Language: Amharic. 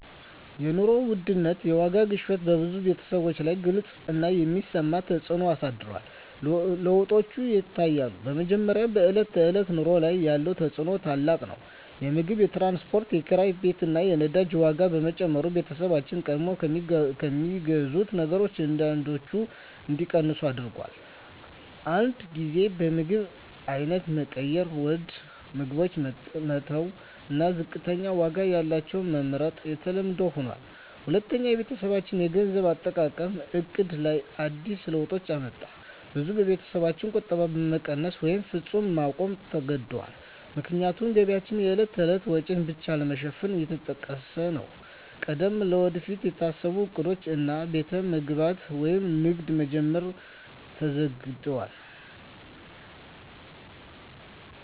የኑሮ ውድነት (የዋጋ ግሽበት) በብዙ ቤተሰቦች ላይ ግልጽ እና የሚሰማ ተፅዕኖ አሳድሯል። ለውጦች ይታያሉ፦ በመጀመሪያ፣ በዕለት ተዕለት ኑሮ ላይ ያለው ተፅዕኖ ታላቅ ነው። የምግብ፣ የትራንስፖርት፣ የኪራይ ቤት እና የነዳጅ ዋጋ መጨመር ቤተሰቦችን ቀድሞ ከሚገዙት ነገሮች አንዳንዶቹን እንዲቀንሱ አድርጎአል። አንዳንድ ጊዜ የምግብ አይነት መቀየር (ውድ ምግቦችን መተው እና ዝቅተኛ ዋጋ ያላቸውን መመርጥ) የተለመደ ሆኗል። ሁለተኛ፣ በቤተሰብ የገንዘብ አጠቃቀም ዕቅድ ላይ አዲስ ለውጦች አመጣ። ብዙ ቤተሰቦች ቁጠባቸውን መቀነስ ወይም ፈጽሞ ማቆም ተገድደዋል፣ ምክንያቱም ገቢያቸው የዕለት ተዕለት ወጪን ብቻ ለመሸፈን እየተጠቀሰ ነው። ቀድሞ ለወደፊት የታሰቡ ዕቅዶች፣ እንደ ቤት መገንባት ወይም ንግድ መጀመር፣ ተዘግደዋል።